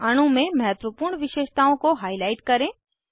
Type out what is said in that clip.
अणु में महत्वपूर्ण विशेषताओं को हाईलाइट करें